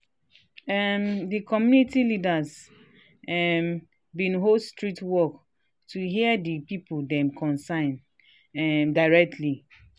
after one small pikin crawl enter road na so so dem build fence round where dem dey play.